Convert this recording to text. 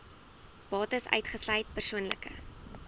bates uitgesluit persoonlike